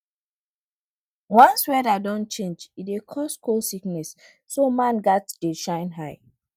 once weather don change e dey cause cold sickness so man gats dey shine eye